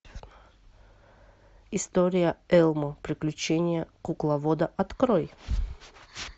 история элмо приключения кукловода открой